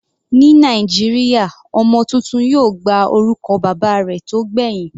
Ní Nàìjíríà ọmọ tuntun yóò gba orúkọ bàbá rẹ̀ tó gbẹ̀hìn.